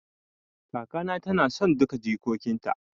Kaka na ta na son duka jikokin ta